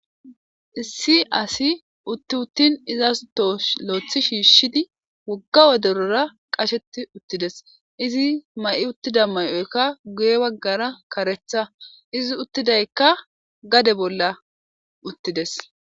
issi asi utti uttin izas too lo'ethi shiishshidi wogga woderora qasheti uttides izi ma7i uttida may7oykka guye baggara karetha izi uttidaykka gade bolla uttides